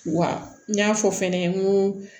Wa n y'a fɔ fɛnɛ n ko